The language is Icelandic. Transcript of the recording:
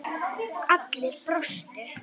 Allir brostu.